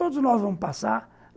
Todos nós vamos passar.